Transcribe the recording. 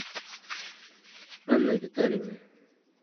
анной витальевной